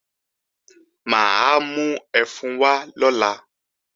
Mà á mú ẹfun wá lọ́la